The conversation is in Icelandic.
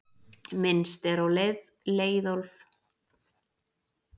Minnst er á Leiðólf kappa í Landnámabók.